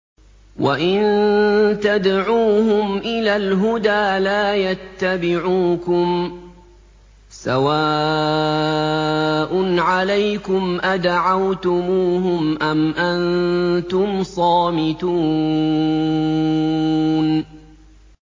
وَإِن تَدْعُوهُمْ إِلَى الْهُدَىٰ لَا يَتَّبِعُوكُمْ ۚ سَوَاءٌ عَلَيْكُمْ أَدَعَوْتُمُوهُمْ أَمْ أَنتُمْ صَامِتُونَ